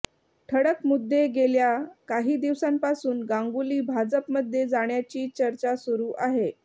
ठळक मुद्देगेल्या काही दिवसांपासून गांगुली भाजपमध्ये जाण्याची चर्चा सुरू आहे